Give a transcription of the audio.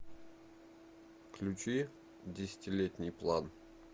включи десятилетний план